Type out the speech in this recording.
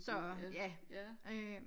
Så ja øh